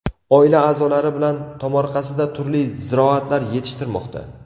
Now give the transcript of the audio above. Oila a’zolari bilan tomorqasida turli ziroatlar yetishtirmoqda.